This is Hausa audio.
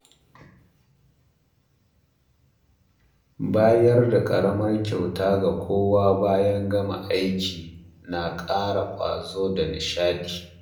Bayar da ƙaramar kyauta ga kowa bayan gama aiki na ƙara ƙwazo da nishaɗi.